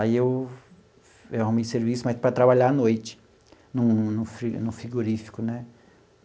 Aí eu eu arrumei serviço, mas para trabalhar à noite, num num fri num frigorífico, né?